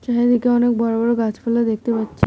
চারিদিকে অনেক বড়ো বড়ো গাছপালা দেখতে পাচ্ছি।